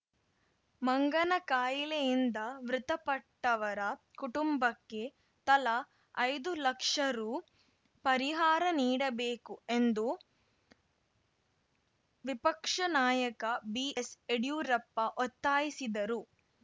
ಮಂಗನಕಾಯಿಲೆಯಿಂದ ಮೃತಪಟ್ಟವರ ಕುಟುಂಬಕ್ಕೆ ತಲಾ ಐದು ಲಕ್ಷ ರು ಪರಿಹಾರ ನೀಡಬೇಕು ಎಂದು ವಿಪಕ್ಷ ನಾಯಕ ಬಿ ಎಸ್‌ ಯಡಿಯೂರಪ್ಪ ಒತ್ತಾಯಿಸಿದರು